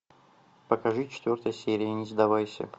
покажи четвертая серия не сдавайся